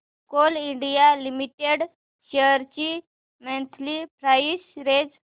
Coal India Limited shares ची monthly price range